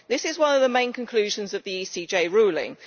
This is one of the main conclusions of the ECJ ruling.